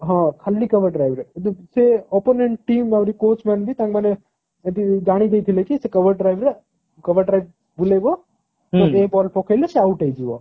ହଁ ଖାଲି cover drive ରେ ସେ opponent team ଆଉରି coach man ବି ମାନେ ଏଠି ଜାଣି ଦେଇଥିଲେ କି ସେ cover drive ରେ cover drive ବୁଲେଇବ ସେତିକିବେଳେ ball ପକେଇଲେ ସେ out ହେଇଯିବ